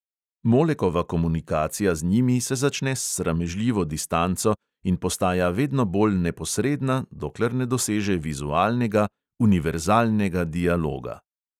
Molekova komunikacija z njimi se začne s sramežljivo distanco in postaja vedno bolj neposredna, dokler ne doseže vizualnega, univerzalnega dialoga.